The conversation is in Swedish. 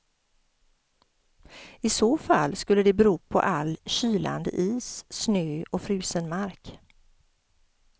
I så fall skulle det bero på all kylande is, snö och frusen mark.